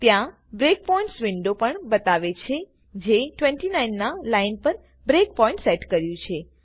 ત્યાં breakpoints window પણ બતાવે છે જે 29 ના લાઈન પર બ્રેકપોઈન્ટ સેટ કર્યું છે